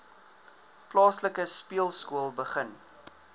plaaslike speelskool begin